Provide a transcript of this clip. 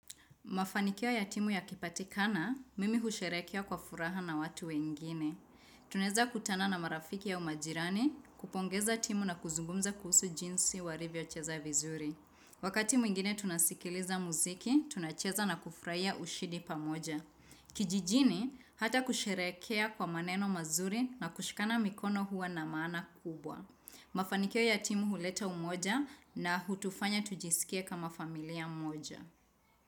Mafanikio ya timu yakipatikana, mimi husherekea kwa furaha na watu wengine. Tunaezakutana na marafiki au majirani, kupongeza timu na kuzungumza kuhusu jinsi walivyocheza vizuri. Wakati mwingine tunasikiliza muziki, tunacheza na kufurahia ushindi pamoja. Kijijini, hata kusherekea kwa maneno mazuri na kushikana mikono huwa na maana kubwa. Mafanikio ya timu huleta umoja na hutufanya tujisikia kama familia moja.